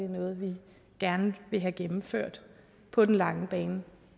noget vi gerne vil have gennemført på den lange bane